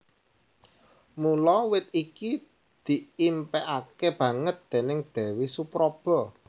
Mula wit iki diimpékaké banget déning Déwi Supraba